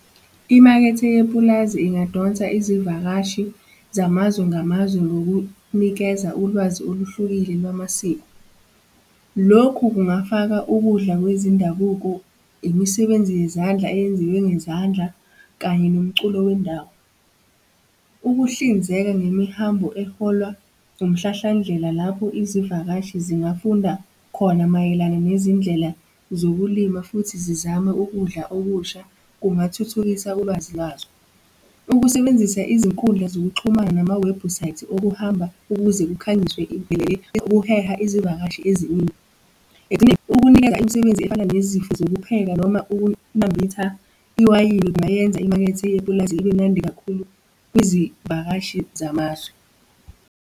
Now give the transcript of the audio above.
Imakethe yepulazi ingadonsa izivakashi zamazwe ngamazwe ngokunikeza ulwazi oluhlukile lwamasiko. Lokhu kungafaka ukudla kwezindabuko, imisebenzi yezandla eyenziwe ngezandla, kanye nomculo wendawo. Ukuhlinzeka ngemihambo eholwa umhlahlandlela, lapho izivakashi zingafunda khona mayelana nezindlela zokulima futhi zizame ukudla okusha, kungathuthukisa ulwazi lwazo. Ukusebenzisa izinkundla zokuxhumana namawebhusayithi okuhamba ukuze kukhanyiswe ukuheha izivakashi eziningi, ukunikeza imisebenzi efana nezifo zokuphepha noma ukunambitha iwayini kungayenza imakethe yepulazi ibe mnandi kakhulu kwizivakashi zamazwe.